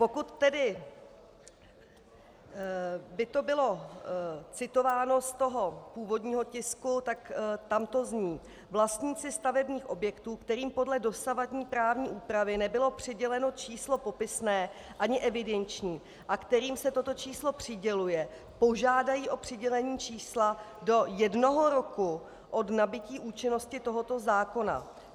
Pokud tedy by to bylo citováno z toho původního tisku, tak tam to zní: "Vlastníci stavebních objektů, kterým podle dosavadní právní úpravy nebylo přiděleno číslo popisné ani evidenční a kterým se toto číslo přiděluje, požádají o přidělení čísla do jednoho roku od nabytí účinnosti tohoto zákona."